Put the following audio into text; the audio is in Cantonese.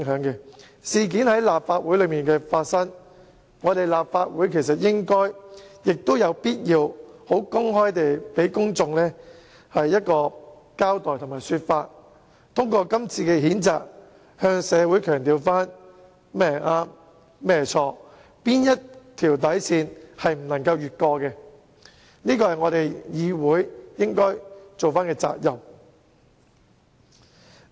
這宗事件既然在立法會裏發生，本會理應亦有必要公開給公眾一個交代，透過今次譴責議案讓社會知道甚麼是對錯，以及不能逾越的底線，這是議會應負起的責任。